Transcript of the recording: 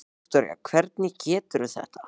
Viktoría: Hvernig gengur þetta?